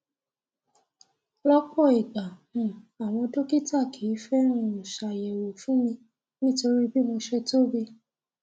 lọpọ ìgbà um àwọn dọkítà kìí fẹ um ṣàyẹwọ fún mi nítorí bí mo ṣe tóbi